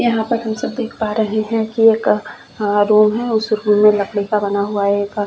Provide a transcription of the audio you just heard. यहाँ पर हम सब देख पा रहै है कि एक अ रूम है उस रूम में लकड़ी का बना हुआ है एक --